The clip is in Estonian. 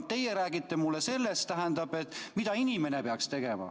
Aga teie räägite mulle sellest, mida inimene peaks tegema.